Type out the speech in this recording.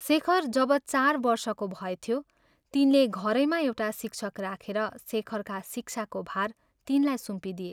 शेखर जब चार वर्षको भएथ्यो, तिनले घरैमा एउटा शिक्षक राखेर शेखरका शिक्षाको भार तिनलाई सुम्पिदिए।